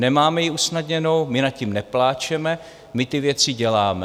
Nemáme ji usnadněnou, my nad tím nepláčeme, my ty věci děláme.